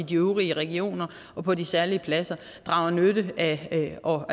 de øvrige regioner og på de særlige pladser drager nytte af og